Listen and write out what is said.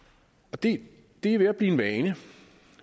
og det er ved at blive en vane